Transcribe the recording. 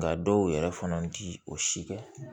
Nka dɔw yɛrɛ fana ti o si kɛ